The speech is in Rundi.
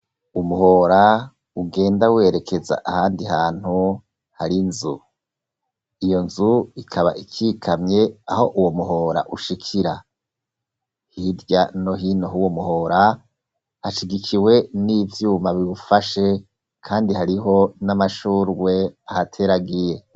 Umuhora ugenda werekeza ahandi hantu hari nzu iyo nzu ikaba ikikamye aho uwo muhora ushikira hirya no hino uwo muhora hashigikiwe n'ivyuma biwufashe kandi hariho n'amashurwe ahateragiye.